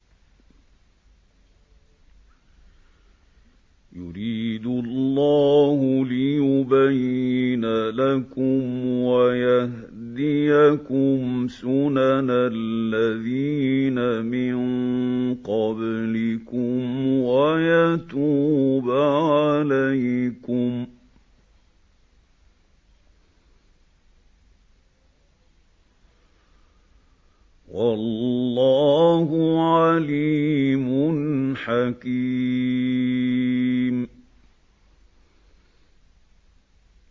يُرِيدُ اللَّهُ لِيُبَيِّنَ لَكُمْ وَيَهْدِيَكُمْ سُنَنَ الَّذِينَ مِن قَبْلِكُمْ وَيَتُوبَ عَلَيْكُمْ ۗ وَاللَّهُ عَلِيمٌ حَكِيمٌ